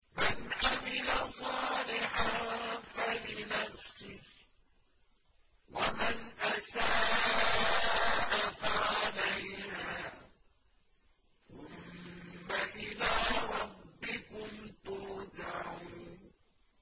مَنْ عَمِلَ صَالِحًا فَلِنَفْسِهِ ۖ وَمَنْ أَسَاءَ فَعَلَيْهَا ۖ ثُمَّ إِلَىٰ رَبِّكُمْ تُرْجَعُونَ